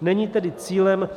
Není tedy cílem